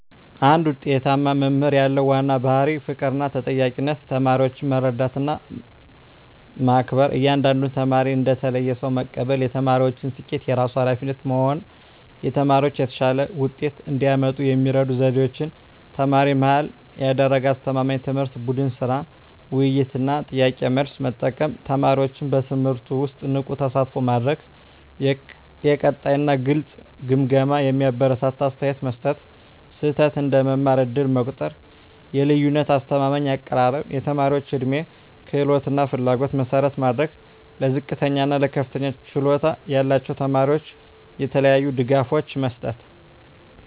አንድ ውጤታማ መምህር ያለው ዋና ባሕርይ ፍቅርና ተጠያቂነት ተማሪዎችን መረዳትና መከበር እያንዳንዱን ተማሪ እንደ ተለየ ሰው መቀበል የተማሪዎችን ስኬት የራሱ ኃላፊነት መሆን ተማሪዎች የተሻለ ውጤት እንዲያመጡ የሚረዱ ዘዴዎች ተማሪ-መሃል ያደረገ አስተማማኝ ትምህርት ቡድን ሥራ፣ ውይይት እና ጥያቄ–መልስ መጠቀም ተማሪዎችን በትምህርቱ ውስጥ ንቁ ተሳትፎ ማድረግ የቀጣይ እና ግልጽ ግምገማ የሚያበረታታ አስተያየት መስጠት ስህተት እንደ መማር ዕድል መቆጠር የልዩነት አስተማማኝ አቀራረብ የተማሪዎች ዕድሜ፣ ክህሎት እና ፍላጎት መሠረት ማድረግ ለዝቅተኛ እና ለከፍተኛ ችሎታ ያላቸው ተማሪዎች የተለያዩ ድጋፎች መስጠት